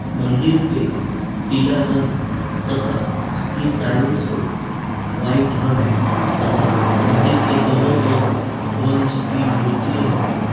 मंदिर पे पिला रंग तथा उसकी टाइल्स पे व्हाइट रंग तथा मंदिर के दोनो और भगवान जी की मूर्ती है।